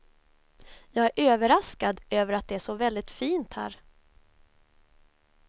Jag är överraskad över att det är så väldigt fint här.